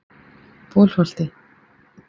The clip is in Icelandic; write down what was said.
Bolholti